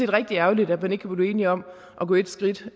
rigtig ærgerligt at man ikke kunne blive enige om at gå et skridt